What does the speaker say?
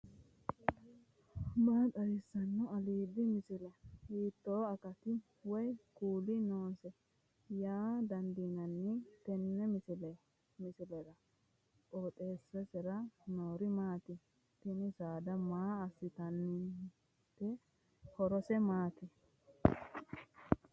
maa xawissanno aliidi misile ? hiitto akati woy kuuli noose yaa dandiinanni tenne misilera? qooxeessisera noori maati ? tini saada maa assinannite horose maati